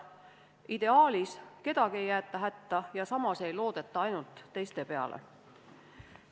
Ideaalis ei jäeta kedagi hätta ja samas ei loodeta ainult teiste peale.